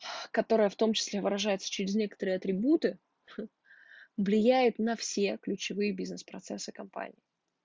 которая в том числе выражается через некоторые атрибуты ха влияет на все ключевые бизнес-процессы компании